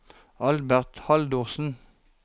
Albert Haldorsen